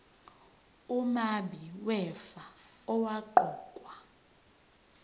umabi wefa owaqokwa